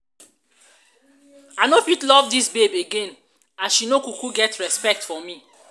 i no fit love dis babe again as she no no kuku get respect for me.